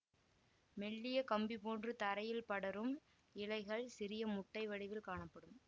மெல்லிய கம்பி போன்று தரையில் படரும் இலைகள் சிறிய முட்டை வடிவில் காணப்படும்